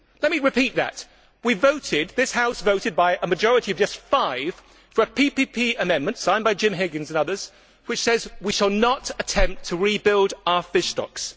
Let me repeat that this House voted by a majority of just five for a PPE amendment, signed by Jim Higgins and others, which says we shall not attempt to rebuild our fish stocks.